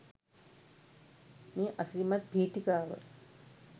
මේ අසිරිමත් පීඨිකාව